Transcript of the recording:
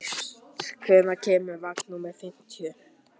Mist, hvenær kemur vagn númer fimmtíu?